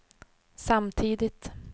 samtidigt